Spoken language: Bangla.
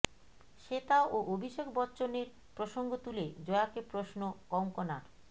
শ্বেতা ও অভিষেক বচ্চনের প্রসঙ্গ তুলে জয়াকে প্রশ্ন কঙ্গনার